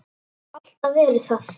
Og hef alltaf verið það.